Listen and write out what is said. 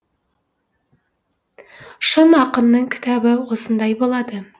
шын ақынның кітабы осындай болады